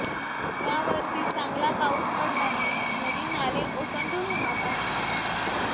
यावर्षी चांगला पाऊस पडल्याने नदी नाले ओसंडून वाहत आहेत